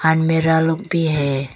अलमीरा लोग भी हैं।